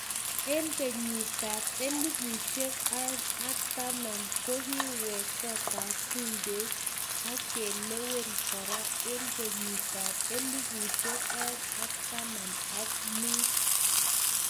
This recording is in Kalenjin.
En kenyitab elfushek aeng ak taman kokiwek kotab bungeit ak kelewen kora en kenyitab elfshek aeng ak taman ak mut